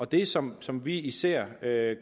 det som som vi især